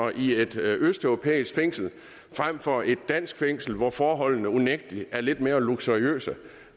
i et østeuropæisk fængsel frem for i et dansk fængsel hvor forholdene unægtelig er lidt mere luksuriøse